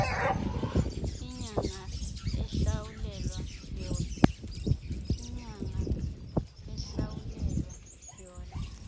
inyanga ehlawulelwa yona